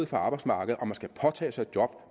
for arbejdsmarkedet og man skal påtage sig et job